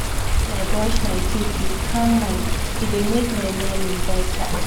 even when i brush my teeth with calm mind e dey make my morning better